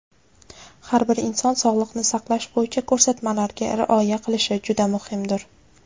har bir inson sog‘liqni saqlash bo‘yicha ko‘rsatmalarga rioya qilishi juda muhimdir.